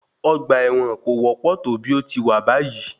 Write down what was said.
Ọgbà ẹ̀wọ̀n kò wọ́pọ̀ tó bí ò ti wà báyìí.